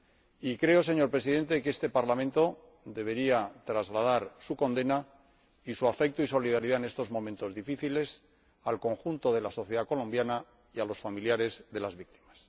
Y creo, señor Presidente, que este Parlamento debería trasladar su condena y su afecto y su solidaridad, en estos momentos difíciles, al conjunto de la sociedad colombiana y a los familiares de las víctimas.